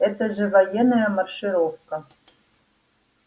это же военная маршировка